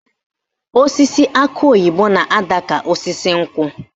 Osisi akị oyibo na-adị ka osisi nkwụ